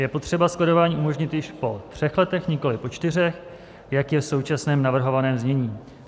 Je potřeba skladování umožnit již po třech letech, nikoli po čtyřech, jak je v současném navrhovaném znění.